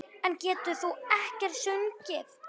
En getur þú ekkert sungið?